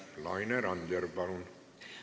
Laine Randjärv, palun!